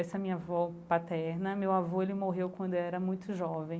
Essa minha avó paterna, meu avô, ele morreu quando era muito jovem.